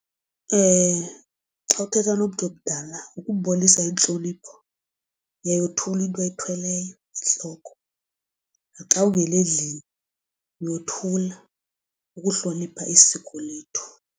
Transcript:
Xa uthetha nomntu omdala ukumbonisa intlonipho uyayothula into oyithweleyo entloko naxa ungena endlini uyothula ukuhlonipha isiko lethu.